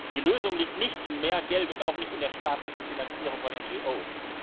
Die Lösung liegt nicht in mehr Geld und auch nicht in der staatlichen Finanzierung von NGOs.